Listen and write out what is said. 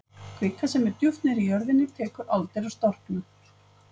Kvika sem er djúpt niðri í jörðinni tekur aldir að storkna.